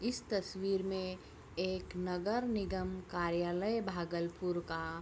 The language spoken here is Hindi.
इस तस्वीर में एक नगर निगम कार्यालय भागलपुर का --